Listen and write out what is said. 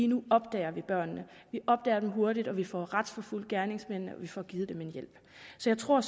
nu opdager vi børnene vi opdager dem hurtigt og vi får retsforfulgt gerningsmændene og vi får givet dem hjælp så jeg tror